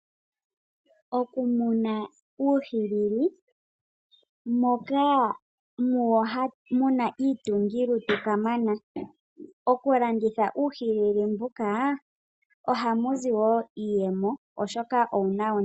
Okumuna uuhilili moka muwo mu na iitungilutu kamana. Okulanditha uuhilili mbuka ohamu zi wo iiyemo, oshoka owu na ondilo.